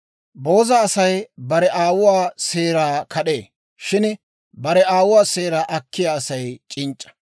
Booza Asay bare aawuwaa seeraa kad'ee; shin bare aawuwaa seeraa akkiyaa Asay c'inc'c'a.